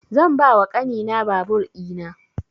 Zan ba wa ƙani na babur ina